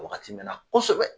Wagati mɛɛnna kosɛbɛ